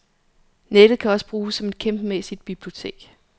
Nettet kan også bruges som et kæmpemæssigt bibliotek.